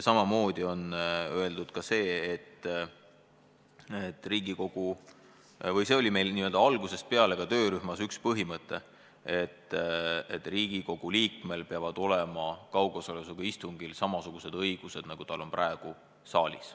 Samamoodi oli meil töörühmas algusest peale põhimõte, et Riigikogu liikmel peavad olema kaugosalusega istungil samasugused õigused, nagu praegu on saalis.